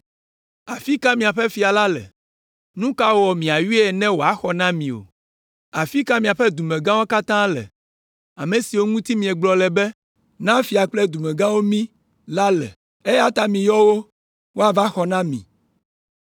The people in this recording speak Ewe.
Afi ka miaƒe fia la le? Nu ka wɔ miayɔe ne wòaxɔ na mi o? Afi ka miaƒe dumegãwo katã le? Ame siwo ŋuti miegblɔ le be, ‘Na fia kple dumegãwo mí’ la le? Eya ta miyɔ wo woava xɔ na mi!